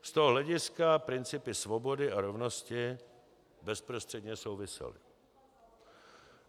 Z toho hlediska principy svobody a rovnosti bezprostředně souvisely.